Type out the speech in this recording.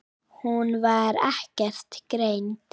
Hún var ekkert greind.